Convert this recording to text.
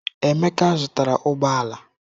Emeka zụtara ụgbọ ala.